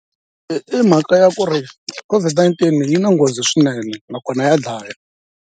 I i mhaka ya ku ri COVID-19 yi na nghozi swinene nakona ya dlaya.